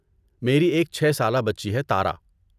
میری ایک چھے سالہ بچی ہے تارا